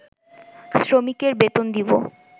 শ্রমিকের বেতন দিবো